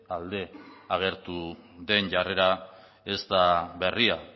alde agertu den jarrera ez da berria